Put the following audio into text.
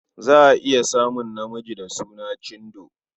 Za a iya samun namiji da suna Chindo.